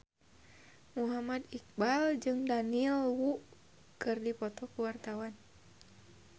Muhammad Iqbal jeung Daniel Wu keur dipoto ku wartawan